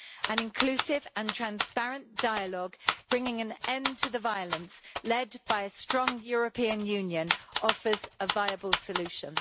An inclusive and transparent dialogue bringing an end to the violence, led by a strong European Union, offers a viable solution.